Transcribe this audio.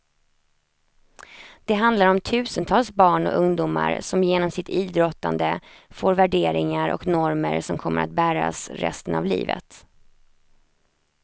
Det handlar om tusentals barn och ungdomar som genom sitt idrottande får värderingar och normer som kommer att bäras resten av livet.